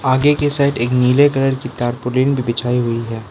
आगे के साइड एक नीले कलर की तारपोलिन भी बिछाई हुई है।